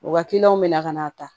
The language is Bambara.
U ka bɛna ka n'a ta